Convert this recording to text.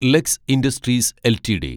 lux industries LTD